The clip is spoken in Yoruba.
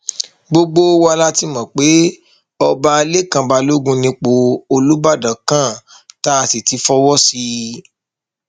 gbogbo wa la ti mọ pé ọba lẹkàn balógun nípò olùbàdàn kan tá a sì ti fọwọ sí i